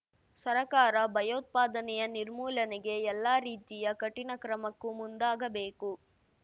ಸರಕಾರ ಭಯೋತ್ಪಾದನೆಯ ನಿರ್ಮೂಲನೆಗೆ ಎಲ್ಲ ರೀತಿಯ ಕಠಿಣ ಕ್ರಮಕ್ಕೂ ಮುಂದಾಗಬೇಕು